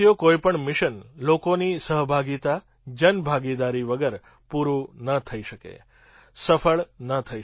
કોઈ પણ મિશન લોકોની સહભાગિતાજનભાગીદારી વગર પૂરું ન થઈ શકે સફળ ન થઈ શકે